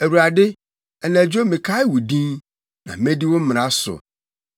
Awurade, anadwo mekae wo din, na medi wo mmara so.